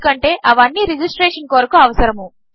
ఎందుకంటేఅవిఅన్నీరిజిస్ట్రేషన్కొరకుఅవసరము